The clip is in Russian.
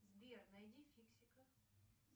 сбер найди фиксиков